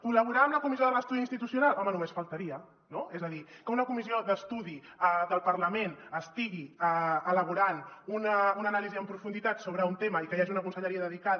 col·laborar amb la comissió de l’estudi institucional home només faltaria no és a dir que una comissió d’estudi del parlament estigui elaborant una anàlisi en profunditat sobre un tema i que hi hagi una conselleria dedicada